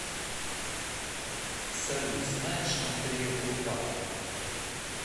салют знаешь андрея курпатова